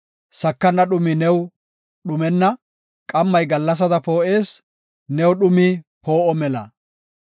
sakana dhumi new dhumenna; qammi gallasada poo7ees; new dhumi poo7o mela.